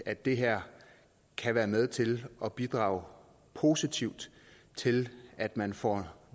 at det her kan være med til at bidrage positivt til at man får